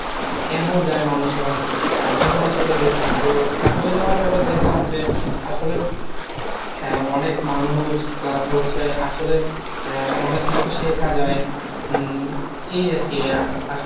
কেন যায় মানুষেরা তার জন্য আসলে গিয়েছিলাম, তো আসলে যাওয়ার পর দেখলাম যে আসলে হ্যা অনেক মানুষ plus হচ্ছে আসলে অনেক কিছু শেখা যায় হম এই আরকী